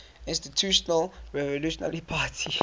institutional revolutionary party